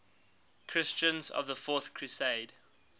christians of the fourth crusade